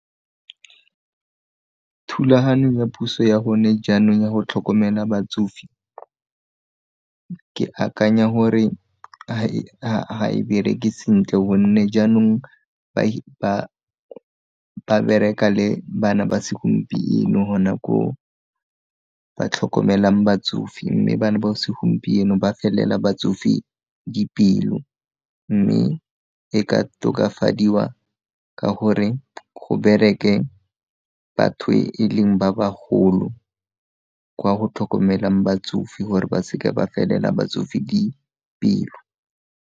Thulaganyo ya puso ya gone jaanong ya go tlhokomela batsofe ke akanya gore ga e bereke sentle gonne jaanong ba bereka le bana ba segompieno go nako ba tlhokomelang batsofe mme bana ba segompieno ba felela batsofe dipelo mme e ka tokafadiwa ka gore go bereke batho e leng ba bagolo kwa go tlhokomelang batsofe gore ba seke ba felela batsofe dipelo.